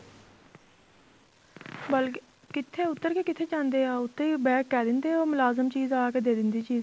ਬਲਕਿ ਕਿੱਥੇ ਉੱਤਰ ਕੇ ਕਿੱਥੇ ਜਾਂਦੇ ਹੈ ਉਹ ਉੱਥੇ ਹੀ ਕਹਿ ਦਿੰਦੇ ਆ ਉਹ ਮੁਲਾਜਮ ਚੀਜ਼ ਆਕੇ ਦੇ ਦਿੰਦੀ ਚੀਜ਼